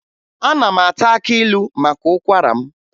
Ana m ata akị ilu maka ụkwara m